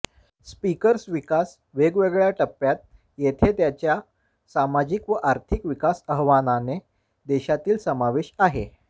speakers विकास वेगवेगळ्या टप्प्यात येथे त्याच्या सामाजिक व आर्थिक विकास आव्हाने देशातील समावेश आहे